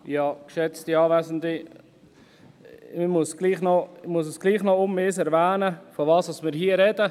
Ich muss nochmals erwähnen, wovon wir hier sprechen.